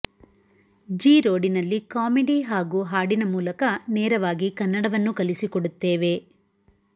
G ರೋಡಿನಲ್ಲಿ comedy ಹಾಗೂ ಹಾಡಿನ ಮೂಲಕ ನೇರವಾಗಿ ಕನ್ನಡವನ್ನು ಕಲಿಸಿಕೊಡುತ್ತೇವೆ